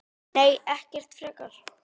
Nei, ekkert frekar.